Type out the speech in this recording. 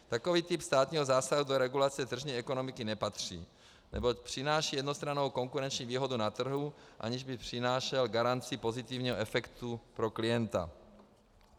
Takový typ státního zásahu do regulace tržní ekonomiky nepatří, neboť přináší jednostrannou konkurenční výhodu na trhu, aniž by přinášel garanci pozitivního efektu pro klienta.